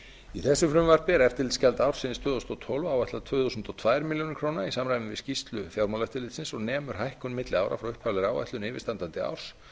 í þessu frumvarpi er eftirlitsgjald ársins tvö þúsund og tólf áætlað tvö þúsund og tvær milljónir króna í samræmi við skýrslu fjármálaeftirlitsins og nemur hækkun milli ára frá upphaflegri áætlun yfirstandandi árs